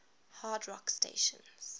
hard rock stations